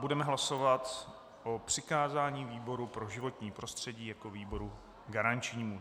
Budeme hlasovat o přikázání výboru pro životní prostředí jako výboru garančnímu.